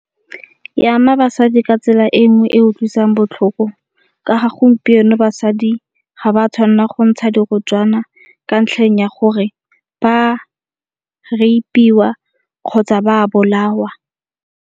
E ama basadi ka tsela e nngwe e utlwisang botlhoko ka ga gompieno basadi ga ba tshwanna go ntsha dirotswana ka ntlheng ya gore ba rape-iwa kgotsa ba bolawa.